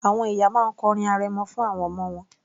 Àwọn ìyá máa ń kọ orin arẹmọ fún àwọn ọmọ wọn